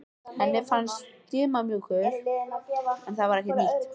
Henni fannst hann of stimamjúkur en það var ekkert nýtt.